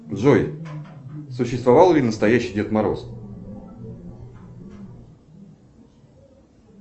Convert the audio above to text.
джой существовал ли настоящий дед мороз